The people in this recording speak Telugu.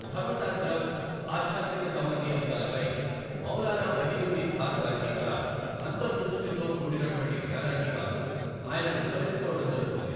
ధర్మశాస్త్రం, ఆధ్యాత్మిక సంబంధి అంశాలపై మౌలానా వహీదుద్దీన్ ఖాన్ గారికిి గల అంతర్ దృష్టితో కూడినటువంటి జ్ఞానానికి గాను ఆయనను స్మరించుకోవడం జరుగుతుంది.